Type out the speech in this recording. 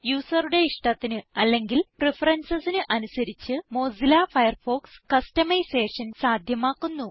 യൂസറുടെ ഇഷ്ടത്തിന് അല്ലെങ്കിൽ preferencesന് അനുസരിച്ച് മൊസില്ല ഫയർഫോക്സ് കസ്റ്റമൈസേഷൻ സാധ്യമാക്കുന്നു